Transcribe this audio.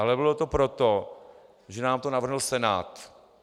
Ale bylo to proto, že nám to navrhl Senát.